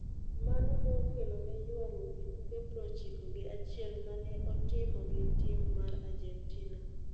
Mano ne okelone ywaruok e tuke prochiko gi achiel ma ne otimo gi tim mar Argentina.